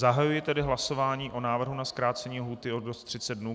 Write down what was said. Zahajuji tedy hlasování o návrhu na zkrácení lhůty o 30 dnů.